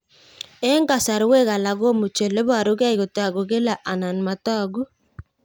Eng' kasarwek alak komuchi ole parukei kotag'u kila anan matag'u